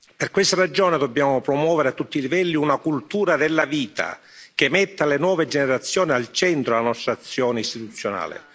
Per questa ragione dobbiamo promuovere a tutti i livelli una cultura della vita che metta le nuove generazioni al centro della nostra azione istituzionale.